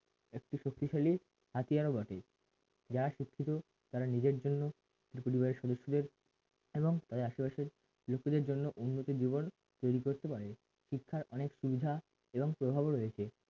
একটি শক্তিশালী হাতিয়ারও বটে যারা শিক্ষিত তারা নিজের জন্য এ পরিবারের সদস্যদের এবং আশেপাশের লোকেদের জন্য উন্নতি জীবন তৈরী করতে পারে শিক্ষার অনেক সুবিধা এবং প্রভাবও রয়েছে।